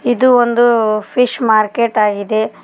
ಇದು ಒಂದು fish market ಆಗಿದೆ.